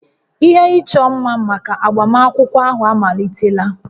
Ihe ịchọ mma maka agbamakwụkwọ ahụ amalitela